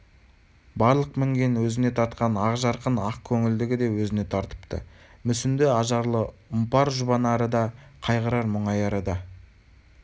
барлық мінген өзіне тартқан ақ жарқын ақ көңілдігі де өзіне тартыпты мүсінді ажарлы ұмпар-жұбанары да қайғырар-мұңаяры да